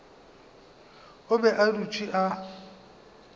o be a dutše a